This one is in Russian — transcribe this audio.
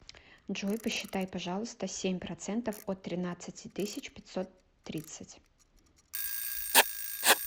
джой посчитай пожалуйста семь процентов от тринадцати тысяч пятьсот тридцать